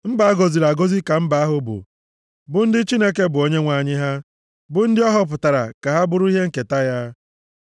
Mba a gọziri agọzi ka mba ahụ bụ, bụ ndị Chineke bụ Onyenwe anyị ha; bụ ndị ọ họpụtara ka ha bụrụ ihe nketa ya.